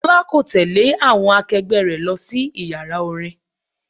Tọ́lá kò tẹle àwọn akegbe rẹ lọ sí Ìyàrá orin.